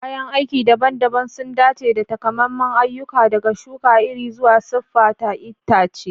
Kayan aiki daban-daban sun dace da takamaiman ayyuka, daga shuka iri zuwa siffata itace.